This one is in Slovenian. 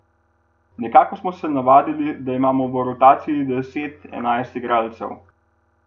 Nekako smo se navadili, da imamo v rotaciji deset, enajst igralcev.